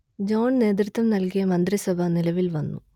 John നേതൃത്വം നൽകിയ മന്ത്രിസഭ നിലവിൽ വന്നു